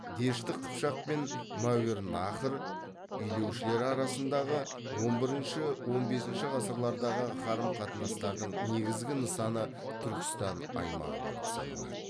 дешті қыпшақ пен мәуереннахр билеушілері арасындағы он бірінші он бесінші ғасырлардағы қарым қатынастың негізгі нысаны түркістан аймағы болып саналады